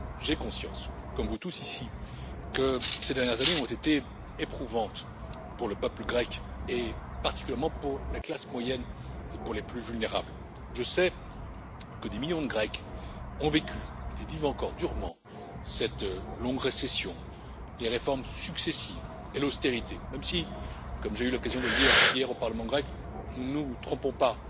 J'ai conscience comme vous tous, ici, que ces dernières années ont été éprouvantes pour le peuple grec, et particulièrement pour la classe moyenne et pour les plus vulnérables. Je sais que des millions de Grecs ont vécu et vivent encore durement cette longue récession, les réformes successives et l'austérité même si, comme j'ai eu l'occasion de le dire hier au Parlement grec, ne nous trompons pas,